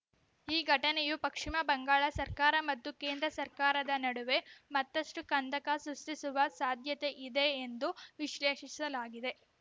ಈ ಘಟನೆಯು ಪಶ್ಚಿಮ ಬಂಗಾಳ ಸರ್ಕಾರ ಮತ್ತು ಕೇಂದ್ರ ಸರ್ಕಾರದ ನಡುವೆ ಮತ್ತಷ್ಟುಕಂದಕ ಸೃಷ್ಟಿಸುವ ಸಾಧ್ಯತೆಯಿದೆ ಎಂದು ವಿಶ್ಲೇಷಿಸಲಾಗಿದೆ